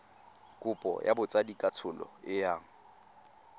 kopo ya botsadikatsholo e yang